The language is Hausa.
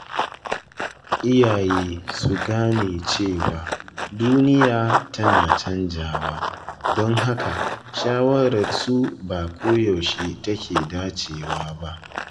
Iyaye su gane cewa duniya tana canjawa, don haka shawararsu ba koyaushe ta ke dacewa ba.